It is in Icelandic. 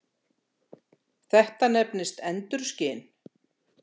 Þetta nefnist endurskin.